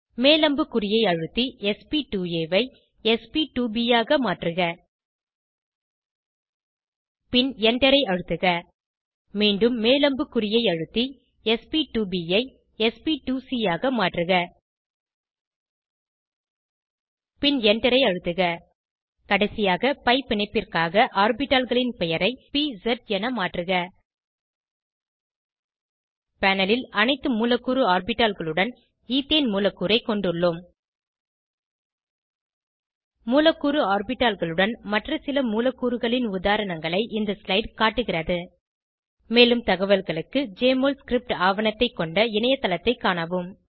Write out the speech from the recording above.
மேல் அம்புக்குறியை அழுத்தி sp2ஆ ஐ sp2ப் ஆக மாற்றுக பின் Enter ஐ அழுத்துக மீண்டும் மேல் அம்புக்குறியை அழுத்தி sp2ப் ஐ sp2சி ஆக மாற்றுக பின் Enter ஐ அழுத்துக கடைசியாக பி பிணைப்பிற்காக ஆர்பிட்டால்களின் பெயரை பிஎஸ் என மாற்றுக panelல் அனைத்து மூலக்கூறு ஆர்பிட்டால்களுடன் ஈத்தேன் மூலக்கூறை கொண்டுள்ளோம் மூலக்கூறு ஆர்பிட்டால்களுடன் மற்ற சில மூலக்கூறுகளின் உதாரணங்களை இந்த ஸ்லைடு காட்டுகிறது மேலும் தகவல்களுக்கு ஜெஎம்ஒஎல் ஸ்கிரிப்ட் ஆவணத்தைக் கொண்ட இணையத்தளத்தை காணவும்